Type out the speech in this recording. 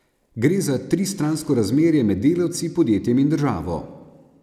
Gre za tristransko razmerje med delavci, podjetjem in državo.